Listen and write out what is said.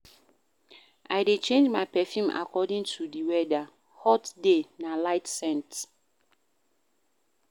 I dey change my perfume according to di weather, hot day na light scent.